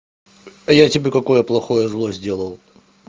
а я тебе какое плохое зло сделал